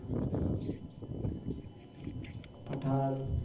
Pathan